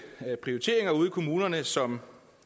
prioriteringer ude i kommunerne som